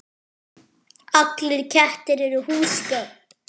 Allir kettir eru húsgögn